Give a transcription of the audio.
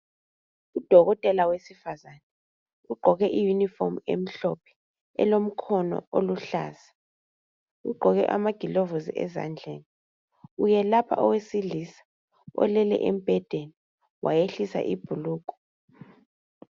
Udokotela wesifazana ugqoke i yunifomu emhlophe elomkhono oluhlaza. Ugqoke amagilovusi ezandleni . Uyelapha owesilisa olele embhedeni wayehlisa ibhulugwe.